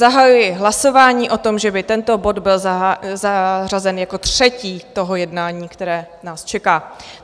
Zahajuji hlasování o tom, že by tento bod byl zařazen jako třetí toho jednání, které nás čeká.